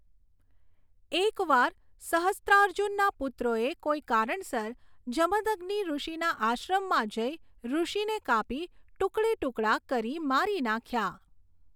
એક વાર સહસ્ત્રાર્જુનના પુત્રોએ કોઈ કારણસર જમદગ્નિઋષિના આશ્રમમાં જઈ ઋષિને કાપી ટુકડે ટુકડા કરી મારી નાખ્યા.